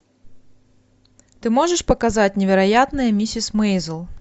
ты можешь показать невероятная миссис мейзел